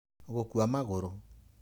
gũkua magũrũ.